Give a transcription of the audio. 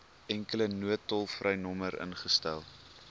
enkele noodtolvrynommer ingestel